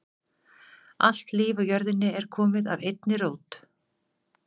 Allt líf á jörðinni er komið af einni rót.